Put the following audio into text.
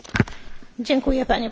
Panie Przewodniczący!